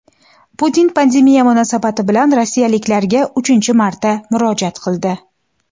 Putin pandemiya munosabati bilan rossiyaliklarga uchinchi marta murojaat qildi.